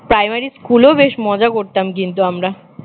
primary স্কুলেও বেশ মজা করতাম কিন্তু আমরা